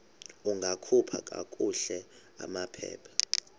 ungakhupha kakuhle amaphepha